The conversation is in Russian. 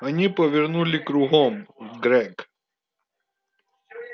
они повернули кругом грег